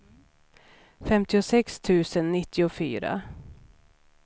femtiosex tusen nittiofyra